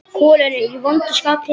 Kolur er í vondu skapi.